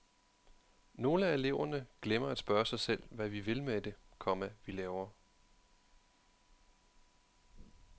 Nogle af eleverne glemmer at spørge sig selv hvad vi vil med det, komma vi laver. punktum